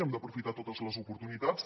hem d’aprofitar totes les oportunitats